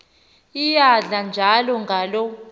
iyadla njalo ngaloo